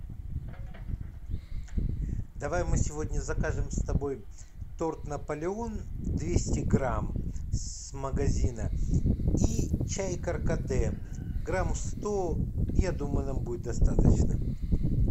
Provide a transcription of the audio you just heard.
давай мы сегодня закажем с тобой торт наполеон двести грамм с магазина и чай каркаде грамм сто я думаю нам будет достаточно